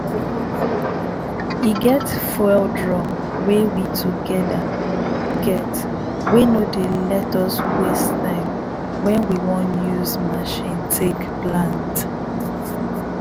e get fuel drum wey we togeda get wey no dey ley us waste time wen we wan use machine take plant.